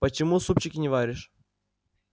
почему супчики не варишь